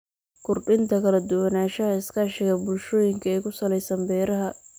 Kordhinta kala duwanaanshaha iskaashiga bulshooyinka ee ku salaysan beeraha.